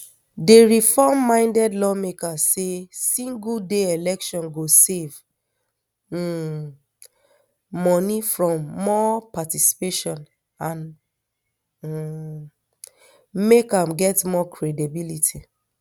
di reform minded lawmakers say single day election go save um money bring more participation and um make am get more credibility